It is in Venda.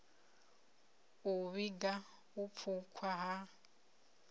u vhiga u pfukhwa ha